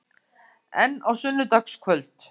En á sunnudagskvöld?